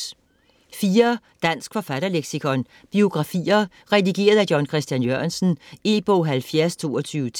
Dansk forfatterleksikon: Biografier: redigeret af: John Chr. Jørgensen E-bog 702210